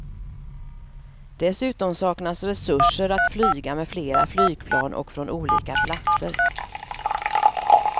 Dessutom saknas resurser att flyga med flera flygplan och från olika platser.